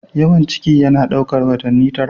Yawan ciki yana ɗaukar watanni tara.